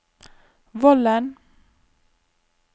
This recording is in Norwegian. Vollen